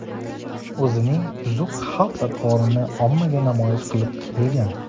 o‘zining buzuq xulq-atvorini ommaga namoyish qilib kelgan.